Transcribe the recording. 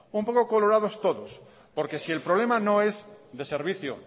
un poco colorados todos porque si el problema no es de servicio